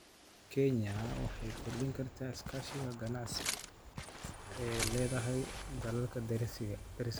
Kenya waxay kordhin kartaa iskaashiga ganacsi ee ay la leedahay dalalka deriska ah.